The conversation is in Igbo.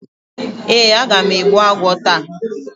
Ee, aga m egbbu agwo taa.